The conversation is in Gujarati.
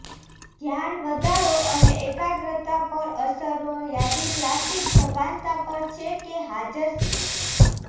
ધ્યાન વધારો અને એકાગ્રતા પણ અસરો યાદી ક્લાસિક સભાનતા પર છે કે હાજર છે